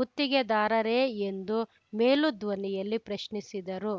ಗುತ್ತಿಗೆದಾರರೇ ಎಂದು ಮೇಲೂ ಧ್ವನಿಯಲ್ಲಿ ಪ್ರಶ್ನಿಸಿದರು